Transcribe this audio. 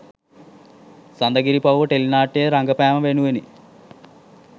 සඳගිරිපව්ව ටෙලිනාට්‍යයේ රඟපෑම වෙනුවෙනි.